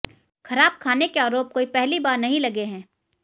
खराब खाने के आरोप कोई पहली बार नहीं लगे हैं